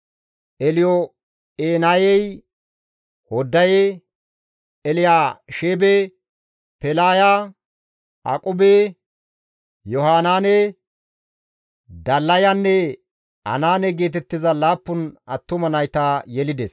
Elyo7enayey Hoddaye, Elyaasheebe, Pelaaya, Aqube, Yohanaane, Dallayanne Anaane geetettiza 7 attuma nayta yelides.